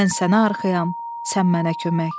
Mən sənə arxayam, sən mənə kömək.